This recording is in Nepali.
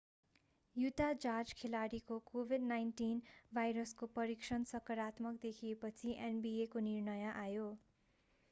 युटा जाज खेलाडीको covid-19 भाइरसको परीक्षण सकारात्मक देखिएपछि nba को निर्णय आयो